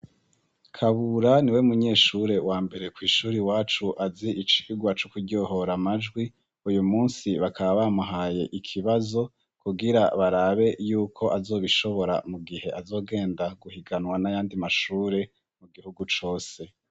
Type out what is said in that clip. Kabura ni we munyeshure wa mbere kw'ishure iwacu azi icigwa co kuryohora amajwi, uyu munsi bakaba bamuhaye ikibazo, kugira barabe y'uko azobishobora mu gihe azogenda guhiganwa nayandi mashure mu gihugu cose.